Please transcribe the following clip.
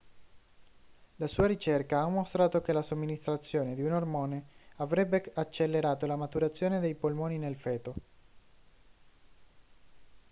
la sua ricerca ha mostrato che la somministrazione di un ormone avrebbe accelerato la maturazione dei polmoni nel feto